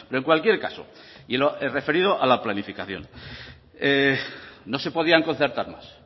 en cualquier caso y referido a la planificación no se podían concertar más